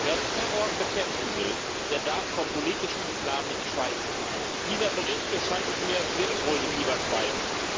Wer Terror bekämpfen will, der darf vom politischen Islam nicht schweigen. Dieser Bericht, so scheint es mir, will wohl lieber schweigen.